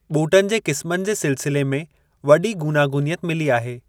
ॿूटनि जे क़िस्मनि जे सिलसिले में वॾी गूनागूनियत मिली आहे।